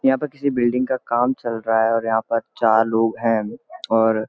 यहाँ पर किसी बिल्डिंग का काम चल रहा है और यहाँ पर चार लोग हैं और --